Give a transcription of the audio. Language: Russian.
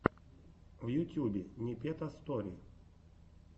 в ютюбе непета стори